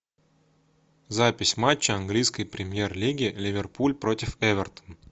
запись матча английской премьер лиги ливерпуль против эвертон